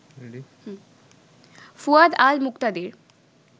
Fuad Al Muktadir